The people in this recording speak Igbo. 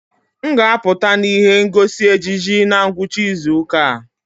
M ga-apụta na ihe ngosi ejiji na ngwụcha izu ụka a.